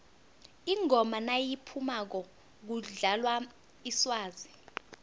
ingoma nayiphumako kudlalwa iswazi